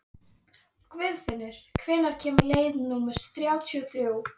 Guðfinnur, hvenær kemur leið númer þrjátíu og þrjú?